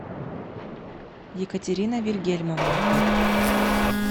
екатерина вильгельмовна